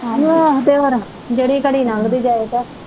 ਆਹੋ ਤੇਹੋਰ ਜਿਹੜੀ ਘੜੀ ਨੰਗਦੀ ਜਾਵੇ ਕਹਿ।